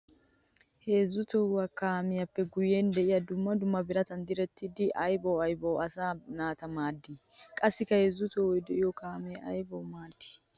Heezzu tohuwa kaamiyappe guye de'iya dumma dumma biratan direttidda aybba aybbawua asaa naata maadi? Qassikka heezzu tohoy de'iyo kaame aybbawu maaddi?